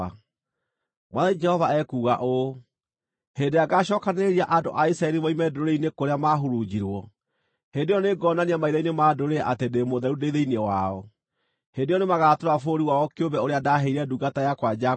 “ ‘Mwathani Jehova ekuuga ũũ: Hĩndĩ ĩrĩa ngaacookanĩrĩria andũ a Isiraeli moime ndũrĩrĩ-inĩ kũrĩa maahurunjirwo, hĩndĩ ĩyo nĩngonania maitho-inĩ ma ndũrĩrĩ atĩ ndĩ mũtheru ndĩ thĩinĩ wao. Hĩndĩ ĩyo nĩmagatũũra bũrũri wao kĩũmbe ũrĩa ndaaheire ndungata yakwa Jakubu.